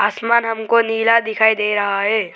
आसमान हमको नीला दिखाई दे रहा है।